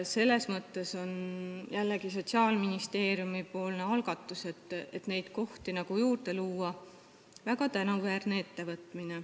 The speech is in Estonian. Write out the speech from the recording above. Selles mõttes on Sotsiaalministeeriumi algatus, et neid kohti juurde luua, väga tänuväärne.